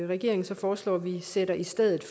regeringen så foreslår at vi sætter i stedet